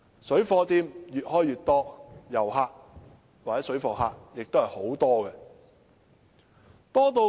水貨店越開越多，旅客或水貨客都很多。